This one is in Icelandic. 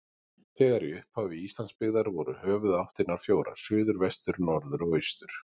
Þegar í upphafi Íslands byggðar voru höfuðáttirnar fjórar: suður, vestur, norður og austur.